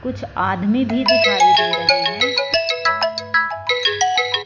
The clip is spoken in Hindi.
कुछ आदमी भी दिखाई दे रही है।